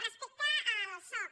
respecte al soc